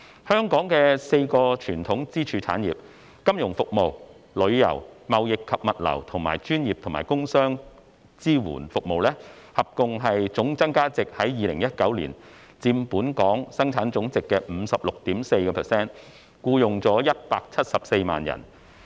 香港的4個傳統支柱產業：金融服務、旅遊、貿易及物流和專業及工商業支援服務，合共的總增加價值在2019年佔本地生產總值 56.4%， 僱用174萬人。